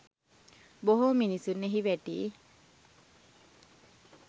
බොහෝ මිනිසුන් එහි වැටී